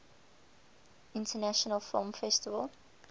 international film festival